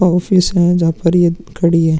Office है जहां पर ये खड़ी है।